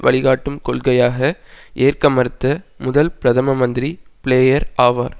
வழிகாட்டும் கொள்கையாக ஏற்க மறுத்த முதல் பிரதம மந்திரி பிளேயர் ஆவார்